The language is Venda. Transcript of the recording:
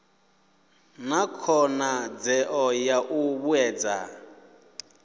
na khonadzeo ya u vhuedza